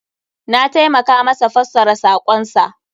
Na taimaka masa fassara sakon sa.